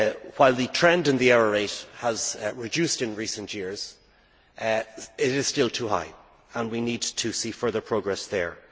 While the trend in the error rate has reduced in recent years, it is still too high and we need to see further progress there.